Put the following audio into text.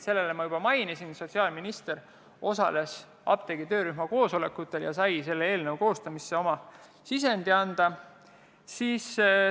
Sellele ma juba vastasin: sotsiaalminister osales töörühma koosolekutel ja sai eelnõu koostamisse oma sisendi anda.